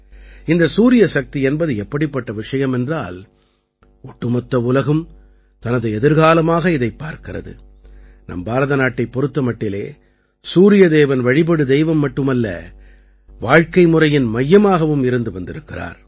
இந்த சூரிய சக்தி என்பது எப்படிப்பட்ட விஷயம் என்றால் ஒட்டுமொத்த உலகும் தனது எதிர்காலமாக இதைப் பார்க்கிறது நம் பாரத நாட்டைப் பொறுத்த மட்டிலே சூரியதேவன் வழிபடு தெய்வம் மட்டுமல்ல வாழ்க்கைமுறையின் மையமாகவும் இருந்து வந்திருக்கிறார்